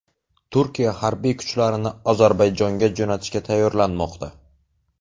Turkiya harbiy kuchlarini Ozarbayjonga jo‘natishga tayyorlanmoqda.